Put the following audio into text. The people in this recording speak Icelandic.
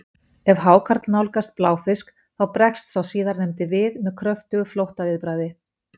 ef hákarl nálgast bláfisk þá bregst sá síðarnefndi við með kröftugu flóttaviðbragði